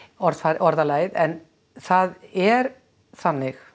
orðalagið en það er þannig